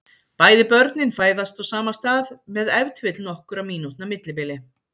Bæði börnin fæðast á sama stað með ef til vill nokkurra mínútna millibili.